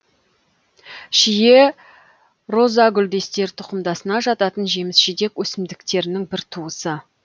шие розагүлдестер тұқымдасына жататын жеміс жидек өсімдіктерінің бір туысы